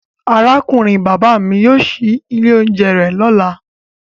Aburo baba mi yóò ṣii ile ounjẹ rẹ lọla.